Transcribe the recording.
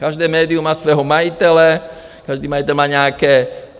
Každé médium má svého majitele, každý majitel má nějaké...